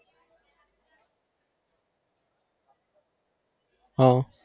હા